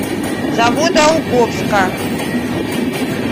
заводоуковска